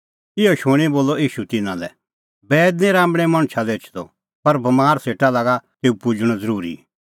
इहअ शूणीं बोलअ ईशू तिन्नां लै बैईद निं राम्बल़ै मणछा लै एछदअ पर बमारा सेटा लागा तेऊ पुजणअ ज़रूरी